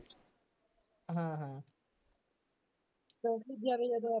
ਹਾਂ ਹਾਂ ਕਿਉਂਕਿ ਜਿਹੜਾ ਜਦੋਂ ਆਪਾਂ